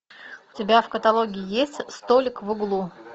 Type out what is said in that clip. у тебя в каталоге есть столик в углу